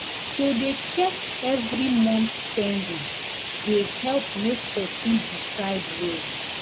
to dey check every month spending the help make person decide well